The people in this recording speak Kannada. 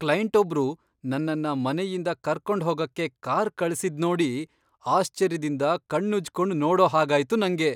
ಕ್ಲೈಂಟೊಬ್ರು ನನ್ನನ್ನ ಮನೆಯಿಂದ ಕರ್ಕೊಂಡ್ಹೋಗಕ್ಕೆ ಕಾರ್ ಕಳ್ಸಿದ್ದಿದ್ನೋಡಿ ಆಶ್ಚರ್ಯದಿಂದ ಕಣ್ಣುಜ್ಕೊಂಡ್ ನೋಡೋ ಹಾಗಾಯ್ತು ನಂಗೆ.